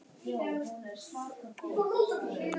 Kristrún, opnaðu dagatalið mitt.